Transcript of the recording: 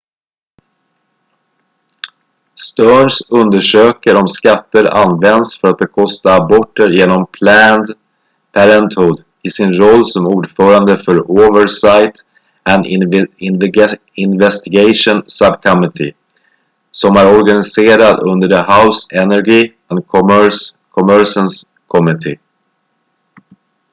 stearns undersöker om skatter används för att bekosta aborter genom planned parenthood i sin roll som ordförande för oversight and investigations subcommittee som är organiserad under the house energy and commerce committee